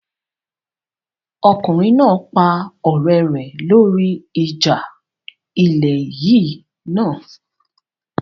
Ọkùnrin náà pa ọ̀rẹ́ rẹ lórí ìjà ilẹ̀ yìí náà